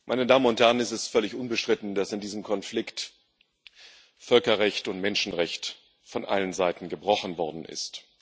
Herr Präsident, meine Damen und Herren! Es völlig unbestritten, dass in diesem Konflikt Völkerrecht und Menschenrecht von allen Seiten gebrochen worden ist.